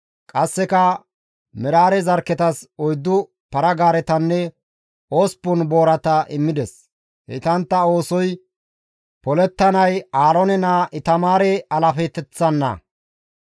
Qasseka Meraare zarkketas oyddu para-gaaretanne osppun boorata immides; heytantta oosoy polettanay Aaroone naa Itamaare alaafeteththanna.